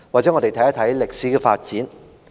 讓我們看一看歷史的發展。